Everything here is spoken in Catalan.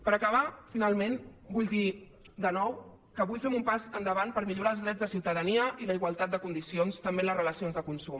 per acabar finalment vull dir de nou que avui fem un pas endavant per millorar els drets de ciutadania i la igualtat de condicions també en les relacions de consum